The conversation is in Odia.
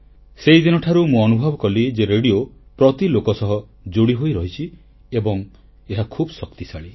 ସେହିଦିନଠାରୁ ମୁଁ ଅନୁଭବ କଲି ଯେ ରେଡ଼ିଓ ପ୍ରତି ଲୋକ ସହ ଯୋଡ଼ିହୋଇ ରହିଛି ଏବଂ ଏହା ଖୁବ ଶକ୍ତିଶାଳୀ